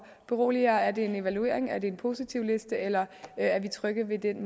berolige er det en evaluering er det en positivliste eller er vi trygge ved den